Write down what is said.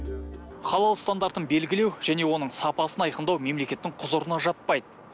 халал стандартын белгілеу және оның сапасын айқындау мемлекеттің құзырына жатпайды